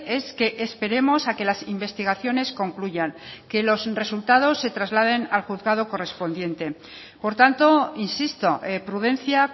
es que esperemos a que las investigaciones concluyan que los resultados se trasladen al juzgado correspondiente por tanto insisto prudencia